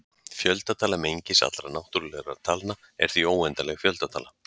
fjöldatala mengis allra náttúrulegra talna er því óendanleg fjöldatala